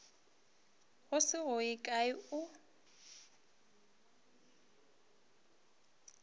se go ye kae o